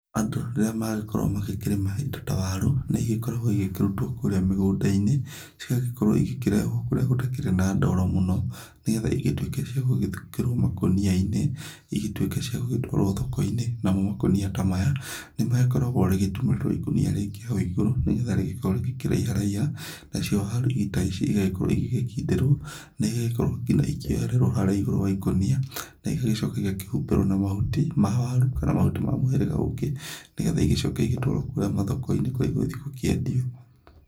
Andũ rĩrĩa magĩkorwo magĩkĩrĩma indo ta waru, nĩ igĩkoragwo igĩkĩrutwo kũrĩa mĩgũndainĩ. Cigagĩkorwo igĩkĩrehwo kũrĩa gũtakĩrĩ na ndooro mũno, nĩ getha igĩtwĩke cia gũgĩthukĩruo makũniainĩ, igĩtwĩke cia gũgĩgĩtwarwo thoko-inĩ. Namo makũnia ta maya nĩ magikoraguo rĩgĩtumĩrĩrwo ikũnia rĩngĩ hau iguru, Nĩ getha rĩngĩkoruo rĩkĩraiharaiha. Nacio waru ta ici igagĩkorwo igĩnkindĩrwo na igagĩkoruo gina ikĩohereruo harĩa igũrũ wa ikũnia. na igagĩcoka ikahumbĩrwo na mahuti ma waaru kana mahuti ma mũhĩrĩga ũngĩ, nĩ getha igĩcooke igĩtwarwo kũũrĩa mathokoinĩ kũrĩa igũthĩe gũkĩendio.